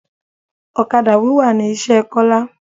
Ọ̀kadà wíwà ni iṣẹ́ Kola